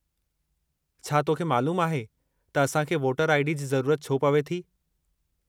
छा तोखे मइलूमु आहे त असांखे वोटर आई.डी. जी ज़रूरत छो पवे थी ?